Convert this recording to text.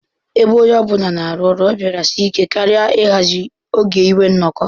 Ebe onye ọ bụla na-arụ ọrụ, ọ bịara sie ike karị ịhazi oge inwe nnọkọ.